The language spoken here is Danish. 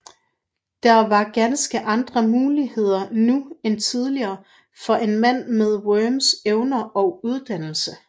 Der var ganske andre muligheder nu end tidligere for en mand med Worms evner og uddannelse